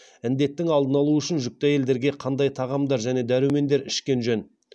індеттің алдын алу үшін жүкті әйелдерге қандай тағамдар және дәрумендер ішкен жөн